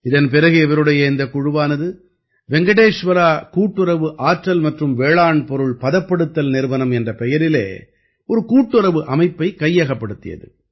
இதன் பிறகு இவருடைய இந்தக் குழுவானது வெங்கடேஷ்வரா கூட்டுறவு ஆற்றல் மற்றும் வேளாண் பொருள் பதப்படுத்தல் நிறுவனம் என்ற பெயரிலே ஒரு கூட்டுறவு அமைப்பை கையகப்படுத்தியது